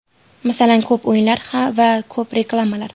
Masalan, ko‘p o‘yinlar va ko‘p reklamalar.